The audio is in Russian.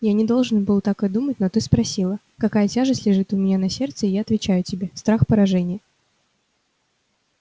я не должен был так и думать но ты спросила какая тяжесть лежит у меня на сердце и я отвечаю тебе страх поражения